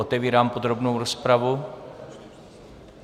Otevírám podrobnou rozpravu.